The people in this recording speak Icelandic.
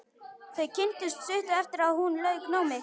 Þau kynntust stuttu eftir að hún lauk námi.